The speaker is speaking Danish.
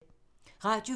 Radio 4